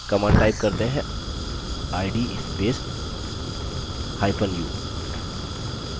command type करते हैं id spacehyphen u